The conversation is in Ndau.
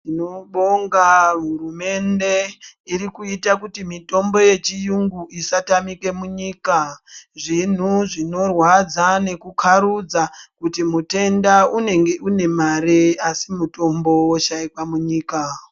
Tinobonga hurumende iri kuita kuti mitombo yechiyungu isatamika munyika. Zvinhu zvinorwadza nekukharudza kuti mutenda unenge unemari asi mutombo woshaikwa munyika